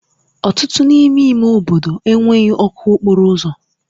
Ọtụtụ n'ime ime obodo enweghị ọkụ okporo ụzọ.